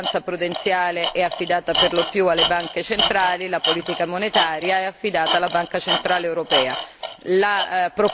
Oggi la vigilanza prudenziale è affidata generalmente alle banche centrali, la politica monetaria è affidata alla Banca centrale europea.